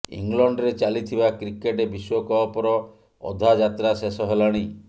ଇଂଲଣ୍ଡରେ ଚାଲିଥିବା କ୍ରିକେଟ୍ ବିଶ୍ୱକପର ଅଧା ଯାତ୍ରା ଶେଷ ହେଲାଣି